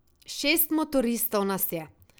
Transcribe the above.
Šest motoristov nas je.